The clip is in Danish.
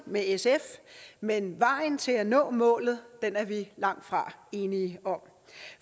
med sf men vejen til at nå målet er vi langtfra enige om